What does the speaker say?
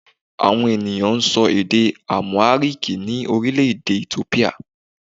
Àwọn ènìyàn n sọ èdè 'Àmùháríkì ní Orílèdè Ethiopia